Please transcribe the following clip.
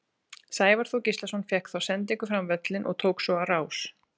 Sævar Þór Gíslason fékk þá sendingu fram völlinn og tók svo á rás.